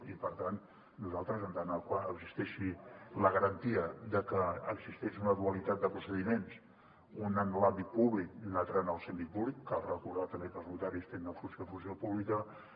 i per tant nosaltres en tant que existeixi la garantia de que existeix una dualitat de procediments un en l’àmbit públic i un altre en el semipúblic cal recordar també que els notaris tenen una funció pública